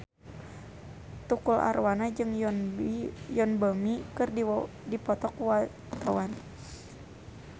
Tukul Arwana jeung Yoon Bomi keur dipoto ku wartawan